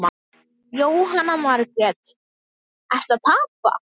Jóhanna Margrét: Ertu að tapa?